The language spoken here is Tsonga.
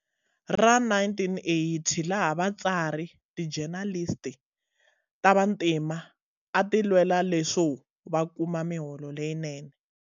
Ra 1980 laha vatsari, tijenalisti, ta vantima a ti lwela leswo va kuma miholo leyinene.